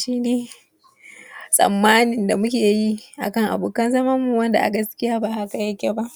shi ne tsammanin da muke yi akan abokan zamanmu wanda gaskiya ba haka yake ba.